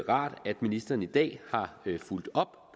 rart at ministeren i dag har fulgt op